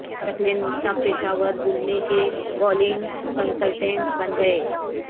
ثقلین مشتاق پشاور زلمی کے bowling consultant بن گئے